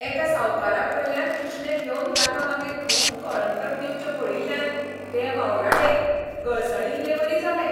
एका सावकाराकडल्यान उश्णें घेवन ताका मागीर खूब कळंतर दिवचें पडील्ल्यान ते वावराडेक गळसणिल्लेवरी जालें.